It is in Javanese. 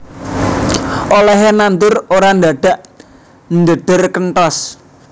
Olèhé nandur ora ndadak ndhedher kenthos